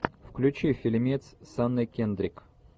включи фильмец с анной кендрик